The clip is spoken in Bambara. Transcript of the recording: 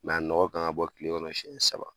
a nɔgɔ kan ka bɔ kile kɔnɔ siɲɛ saba